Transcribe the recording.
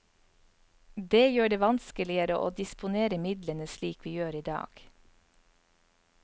Det gjør det vanskeligere å disponere midlene slik vi gjør i dag.